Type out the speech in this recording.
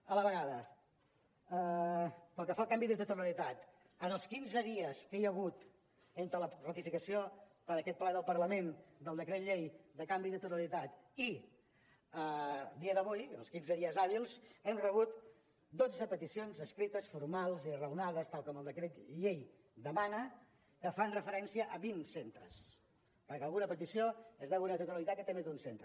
a la vegada pel que fa al canvi de titularitat en els quinze dies que hi ha hagut entre la ratificació per aquest ple del parlament del decret llei de canvi de titularitat i a dia d’avui en els quinze dies hàbils hem rebut dotze peticions escrites formals i raonades tal i com el decret llei demana que fan referència a vint centres perquè alguna petició és d’alguna titularitat que té més d’un centre